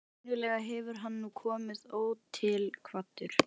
Venjulega hefur hann nú komið ótilkvaddur.